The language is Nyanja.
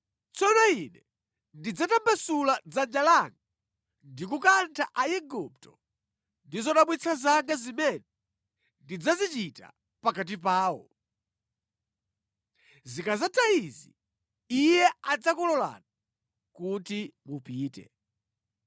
Tsono Ine ndidzatambasula dzanja langa ndi kukantha Aigupto ndi zodabwitsa zanga zimene ndidzazichita pakati pawo. Zikadzatha izi, Iye adzakulolani kuti mupite.